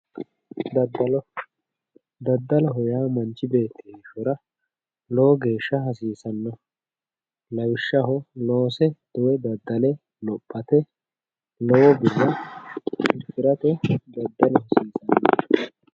daddalo, daddaloho yaa manchi beetti heeshshora lowo geeshsha hasiisannoho lawishshaho, loose woy daddale lophate lowo birra afi'rate daddalu hasiisanno.